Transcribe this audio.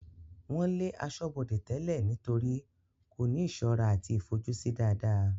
wọ́n lé asọ́bọdè tẹ́lẹ̀ nítorí kò ní ìsọ́ra àti ìfojúsí dáadáa